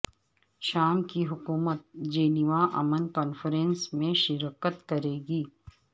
شام کی حکومت جنیوا امن کانفرنس میں شرکت کرے گی